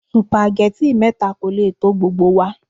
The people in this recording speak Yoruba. Supageti mẹ́ta kò lè tó gbogbo wa.